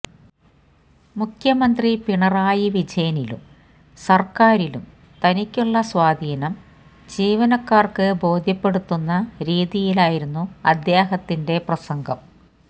മുഖ്യമന്ത്രി പിണറായി വിജയനിലും സർക്കാരിലും തനിക്കുള്ള സ്വാധീനം ജീവനക്കാർക്ക് ബോധ്യപ്പെടുത്തുന്ന രീതിയിലായിരുന്നു അദ്ദേഹത്തിന്റെ പ്രസംഗം